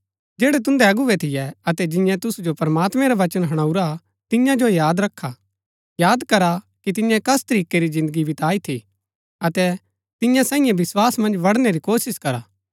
जैड़ै तुन्दै अगुवै थियै अतै जिऐ तुसु जो प्रमात्मैं रा वचन हणाऊरा हा तियां जो याद रखा याद करा कि तिन्ये कस तरीकै री जिन्दगी बिताई थी अतै तियां सांईये विस्वास मन्ज बढ़णै री कोशिश करा